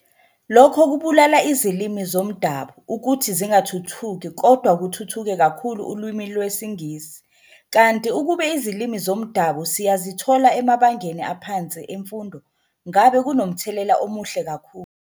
Lokho kubulala izilimi zomdabu ukuthi zingathuthuki kodwa kuthuthuke kakhulu ulwimi lwesiNgisi kanti ukube izilimi zomdabu siyazithola emabangeni aphansi emfundo ngabe kunomthelela omuhle kakhulu